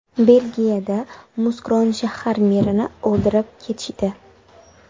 Belgiyada Muskron shahar merini o‘ldirib ketishdi.